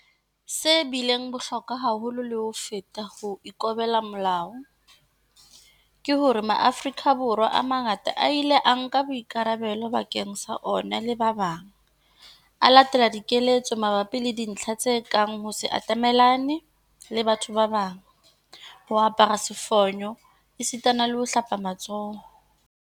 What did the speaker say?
Se bileng bohlokwa haholo le ho feta ho ikobela melao, ke hore Maafrika Borwa a mangata a ile a nka boikarabelo bakeng sa ona le ba bang, a latela dikeletso mabapi le dintlha tse kang ho se atamellane le batho ba bang, ho apara sefonyo esitana le ho hlapa matsoho.